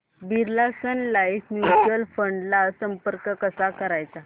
Birla Sun Life mutual fund ला संपर्क कसा करायचा